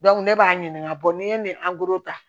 ne b'a ɲininga n'i ye nin ta